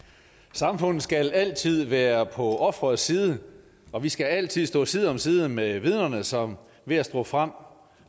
samfundet skal altid være på offerets side og vi skal altid stå side om side med vidnerne som ved at stå frem